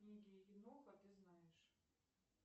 книги еноха ты знаешь